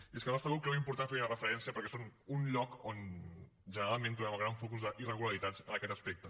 i és que el nostre grup creu important fer hi una referència perquè són un lloc on generalment trobem el gran focus d’irregularitats en aquest aspecte